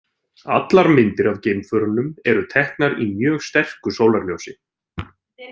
Allar myndir af geimförunum eru teknar í mjög sterku sólarljósi.